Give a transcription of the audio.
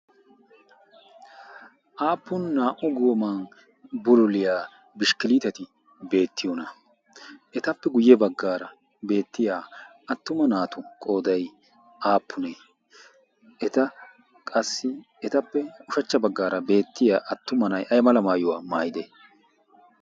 aappun naa"u gooman buruliyaa bishkkiliiteti beettiyoona etappe guyye baggaara beettiya attuma naatu qoodai aappunee eta qassi etappe ushachcha baggaara beettiya attuma na'i aymala maayuwaa maayide?